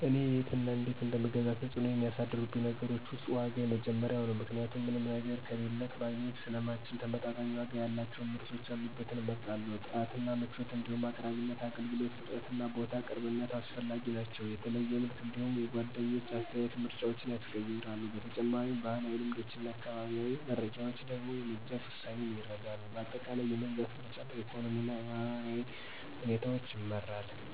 እኔ የት እና እነዴት እንደምገዛ ተጽዕኖ የሚያሳድሩብኝ ነገሮች ውስጥ ዋጋ የመጀመሪያው ነው ምክንያቱም ምንም ነገር ከሌለክ ማግኘት ስለማንችል ተመጣጣኝ ዋጋ ያላቸውን ምርቶች ያሉበትን እመርጣለሁ። ጥራት እና ምቾት እንዲሁም አቅራቢነት፣ የአገልግሎት ፍጥነትና ቦታ ቅርብነት አስፈላጊ ናቸው። የተለየ ምርት እንዲሁም የጓደኞች አስተያየት ምርጫዎችን ያስቀይራሉ። በተጨማሪም፣ ባህላዊ ልምዶችና አካባቢያዊ መረጃዎች ደግሞ የመግዛት ውሳኔን ይረዳሉ። በአጠቃላይ፣ የመግዛት ምርጫ በኢኮኖሚና በማህበራዊ ሁኔታ ይመራል።